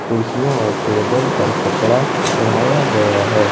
कुर्सी और टेबल पर कपड़ा उड़ाया गया है।